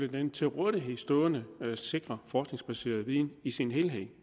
den til rådighed stående sikre forskningsbaserede viden i sin helhed